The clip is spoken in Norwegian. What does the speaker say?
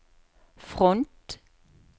front